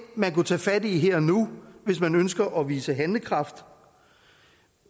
man kunne tage fat i her og nu hvis man ønsker at vise handlekraft